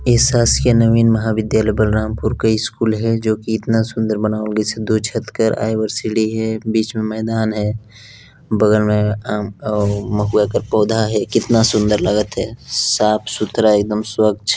इ शासकीय नवीन महाविधयालय बलरामपुर का स्कूल है जो की इतना सूंदर बना जैसे दो छत कर आय और सीढ़ी है बिच में मैदान है बगल में अअअ महुआ का पौधा है कितना सूंदर लगत है साफ सुथरा एक दम स्वच्छ--